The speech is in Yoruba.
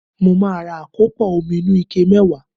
Màá ra àkópò omi inú ike mẹ́wàá